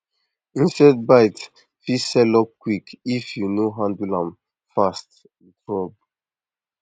insect bite fit sell up quick if you no handle am fast with rub